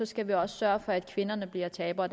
skal vi også sørge for at kvinderne bliver tabere